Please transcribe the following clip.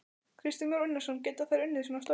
Kristján Már Unnarsson: Geta þær unnið svona störf?